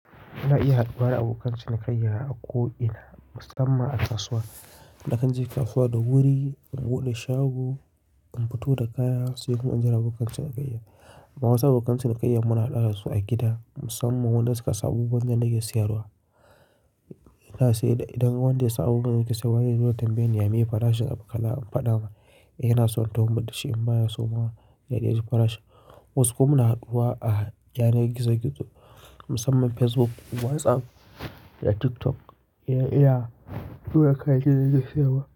Ana iya haduwa abokan cinikayya a ko'ina musamman a kasuwa. Na kan je kasuwa da wuri, in bude shago, in fito da kaya sai in jira abokan cinikayya. Wasu abokan cinikayya muna haɗuwa su a gida musamman wadanda suka san abubuwan nake siyarwa. Ina shi idan wanda ya samu gidan da yake siyarwa yana tambaye ni yame farashin abin kala in faɗa masa, yana son tahowa mishi in baya so ma ya yadai ji farashin. Wasu kuma muna haɗuwa a yanar gizo-gizo musamman Facebook, WhatsApp da TikTok iya duka kayan da na fi yi wa.